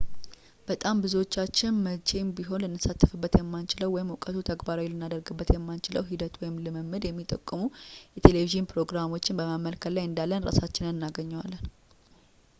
በጣም ብዙዎቻችን መቼም ቢሆን ልንሳተፍበት የማንችለውን ወይም እውቀቱን ተግባራዊ ልናደርግበት የማንችለውን ሂደትን ወይም ልምድን የሚጠቁሙ የቴሌቭዢን ፕሮግራሞችን በመመልከት ላይ እንዳለን እራሳችንን እናገኘዋለን